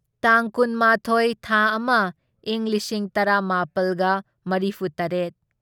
ꯇꯥꯡ ꯀꯨꯟꯃꯥꯊꯣꯢ ꯊꯥ ꯑꯃ ꯢꯪ ꯂꯤꯁꯤꯡ ꯇꯔꯥꯃꯥꯄꯜꯒ ꯃꯔꯤꯐꯨꯇꯔꯦꯠ